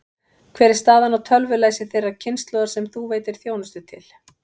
Hver er staðan á tölvulæsi þeirrar kynslóðar sem þú veitir þjónustu til?